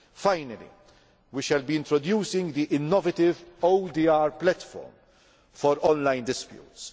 Finally, we shall be introducing the innovative ODR platform for online disputes.